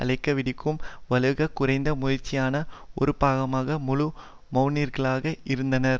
அழைப்பு விடுக்கும் வலுக் குறைந்த முயற்சியின் ஒரு பாகமாக முழு மெளனிகளாக இருந்தனர்